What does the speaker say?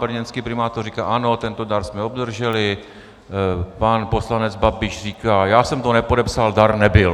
Brněnský primátor říká "ano, tento dar jsme obdrželi", pan poslanec Babiš říká "já jsem to nepodepsal, dar nebyl".